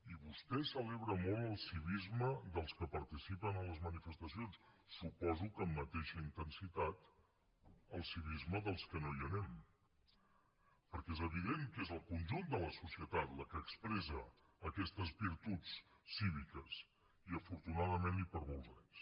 i vostè celebra molt el civisme dels que participen a les manifestacions suposo que amb mateixa intensitat el civisme dels que no hi anem perquè és evident que és el conjunt de la societat la que expressa aquestes virtuts cíviques i afortunadament i per molts anys